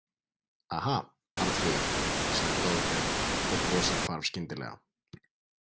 Aha, Arnfríður, sagði Dofri og brosið hvarf skyndilega.